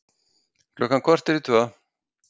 Klukkan korter í tvö